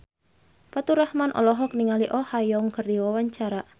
Faturrahman olohok ningali Oh Ha Young keur diwawancara